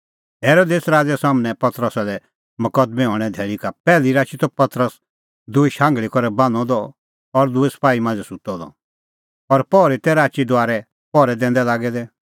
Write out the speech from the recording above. हेरोदेस राज़ै सम्हनै पतरसा लै मकदमैं हणैं धैल़ी का पैहली राची त पतरस दूई शांघल़ी करै बान्हअ द और दूई सपाही मांझ़ै सुत्तअ द और पहरी तै राची दुआरै पहरै दैंदै लागै दै